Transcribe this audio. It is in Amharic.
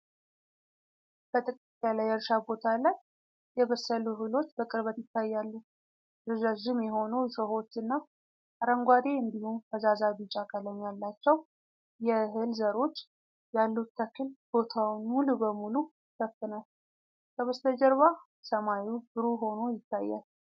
በጥቅጥቅ ያለ የእርሻ ቦታ ላይ የበሰሉ እህሎች በቅርበት ይታያሉ። ረዣዥም የሆኑ እሾሆች እና አረንጓዴ እንዲሁም ፈዛዛ ቢጫ ቀለም ያላቸው የእህል ዘሮች ያሉት ተክል ቦታውን ሙሉ በሙሉ ይሸፍናል። ከበስተጀርባ ሰማዩ ብሩህ ሆኖ ይታያል።